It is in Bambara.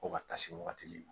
Ko ka taa se wagati ma